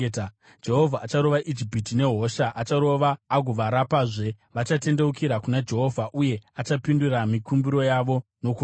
Jehovha acharova Ijipiti nehosha; acharova agovarapazve. Vachatendeukira kuna Jehovha, uye achapindura mikumbiro yavo nokuvarapa.